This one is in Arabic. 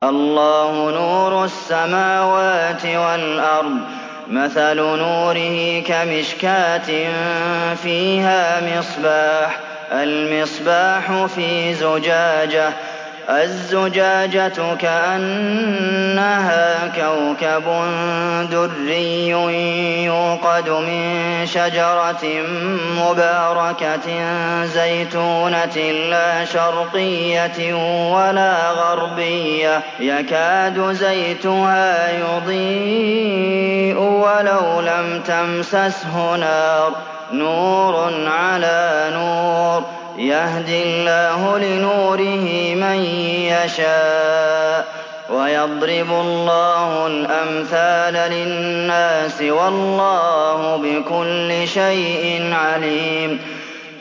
۞ اللَّهُ نُورُ السَّمَاوَاتِ وَالْأَرْضِ ۚ مَثَلُ نُورِهِ كَمِشْكَاةٍ فِيهَا مِصْبَاحٌ ۖ الْمِصْبَاحُ فِي زُجَاجَةٍ ۖ الزُّجَاجَةُ كَأَنَّهَا كَوْكَبٌ دُرِّيٌّ يُوقَدُ مِن شَجَرَةٍ مُّبَارَكَةٍ زَيْتُونَةٍ لَّا شَرْقِيَّةٍ وَلَا غَرْبِيَّةٍ يَكَادُ زَيْتُهَا يُضِيءُ وَلَوْ لَمْ تَمْسَسْهُ نَارٌ ۚ نُّورٌ عَلَىٰ نُورٍ ۗ يَهْدِي اللَّهُ لِنُورِهِ مَن يَشَاءُ ۚ وَيَضْرِبُ اللَّهُ الْأَمْثَالَ لِلنَّاسِ ۗ وَاللَّهُ بِكُلِّ شَيْءٍ عَلِيمٌ